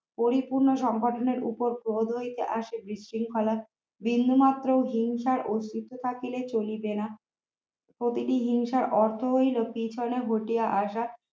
পরিপূর্ণ সংগঠনের উপর প্রভাব লইতে আসিয়া বিশৃঙ্খলা বিন্দুমাত্র হিংসার অস্তিত্ব থাকলে চলিবে না। প্রতিটি হিংসার অর্থ হইল পিছনে ঘটিয়া আসা